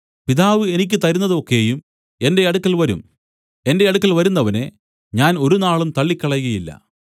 പിതാവ് എനിക്ക് തരുന്നത് ഒക്കെയും എന്റെ അടുക്കൽ വരും എന്റെ അടുക്കൽ വരുന്നവനെ ഞാൻ ഒരുനാളും തള്ളിക്കളകയില്ല